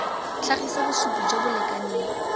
tlhagisa bosupi jo bo lekaneng